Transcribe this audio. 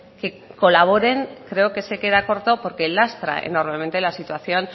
que colaboren creo que se queda corto porque lastra normalmente la situación